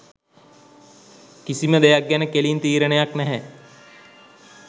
කිසිම දෙයක් ගැන කෙලින් තීරණයක් නැහැ